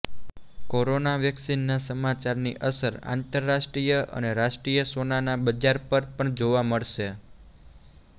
corona વેક્સીનના સમાચારની અસર આંતરરાષ્ટ્રીય અને રાષ્ટ્રીય સોનાના બજાર પર પણ જોવા મળશે